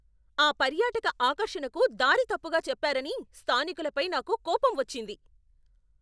ఆ పర్యాటక ఆకర్షణకు దారి తప్పుగా చెప్పారని స్థానికులపై నాకు కోపం వచ్చింది.